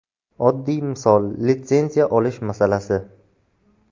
Oddiy misol litsenziya olish masalasi.